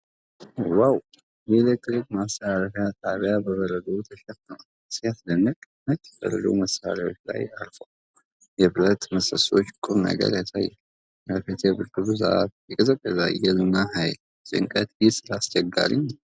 ዋው! የኤሌክትሪክ ማስተላለፊያ ጣቢያ በበረዶ ተሸፍኗል። ሲያስደንቅ! ነጭ በረዶ መሳሪያዎቹ ላይ አርፏል። የብረት ምሰሶዎች ቁምነገር ያሳያሉ። አቤት የብርዱ ብዛት! የቀዘቀዘ አየር እና ኃይል! ጭንቀት! ይህ ስራ አስቸጋሪ ነው።